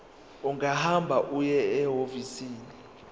ungahamba uye ehhovisi